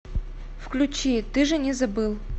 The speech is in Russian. включи ты же не забыл